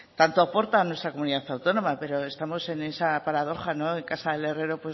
aporta a nuestra comunidad autónoma pero estamos en esa paradoja en casa del herrero